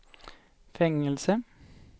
fängelse